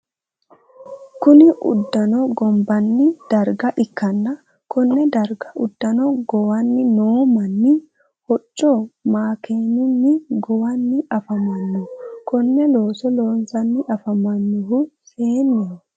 Kunni udano gobbanni darga ikanna konne darga udano gowanni noo manni hoco makeenunni gowanni afamano konne looso loosanni afamanohu seeneho.